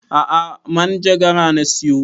A'a manjagara na siyo